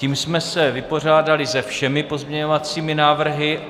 Tím jsme se vypořádali se všemi pozměňovacími návrhy.